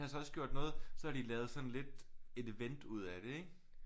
Så også gjort noget så havde de lavet sådan lidt et event ud af det ikke